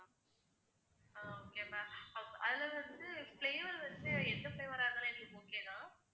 அஹ் okay ma'am அதுல வந்து வச்சு எந்த flavour ஆ இருந்தாலும் எங்களுக்கு okay தான்.